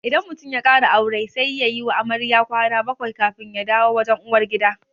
Idan mutum ya ƙara aure sai yayi wa amarya kwana bakwai kafin ya dawo wajen uwar gida